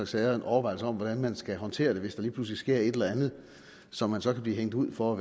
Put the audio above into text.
sager en overvejelse om hvordan man skal håndtere det hvis der lige pludselig sker et eller andet som man så kan blive hængt ud for at